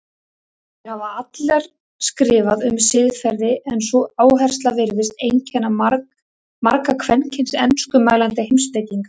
Þær hafa allar skrifað um siðfræði en sú áhersla virðist einkenna marga kvenkyns enskumælandi heimspekinga.